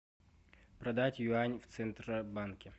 продать юань в центробанке